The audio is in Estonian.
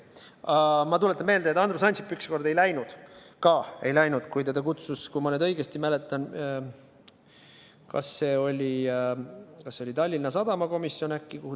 Aga ma tuletan meelde, et Andrus Ansip ükskord ei läinud – tema ka ei läinud –, kui teda kutsus, kui ma nüüd õigesti mäletan, siis äkki Tallinna Sadama komisjon.